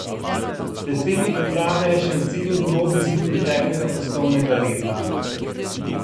Predsednik uprave je še ocenil grobi izid preteklega poslovnega leta.